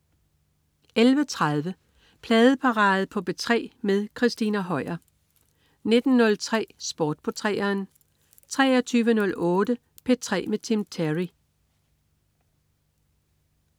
11.30 Pladeparade på P3 med Christina Høier 19.03 Sport på 3'eren 23.08 P3 med Tim Terry